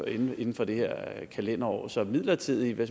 inden inden for det her kalenderår så midlertidige